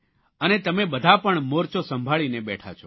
અને તમે બધા પણ મોર્ચો સંભાળીને બેઠા છો